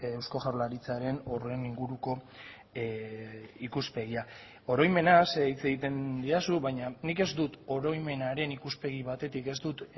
eusko jaurlaritzaren horren inguruko ikuspegia oroimenaz hitz egiten didazu baina nik ez dut oroimenaren ikuspegi batetik ez dut